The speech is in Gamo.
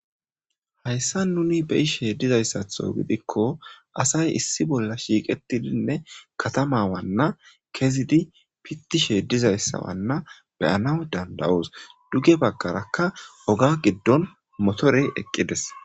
Hayissan nuni be'ishshe dizayiththo giddikko asayi issi bolla shiqqetidinne katama Wana kezzid pitishshe dees.izzappe hani bagara qasi dees.